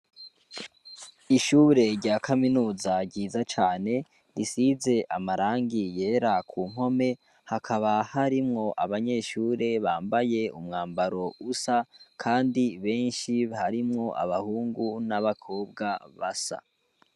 Ishure rya kaminuza ryiza cane risize amarangi yera ku mpome, hakaba harimwo abanyeshure bambaye umwambaro usa kandi benshi, harimwo abahungu n'abakobwa basa.